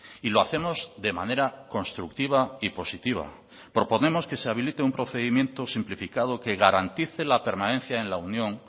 y lo hacemos de manera constructiva y positiva proponemos que se habilite un procedimiento simplificado que garantice la permanencia en la unión